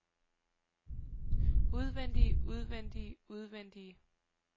udvendige udvendige udvendige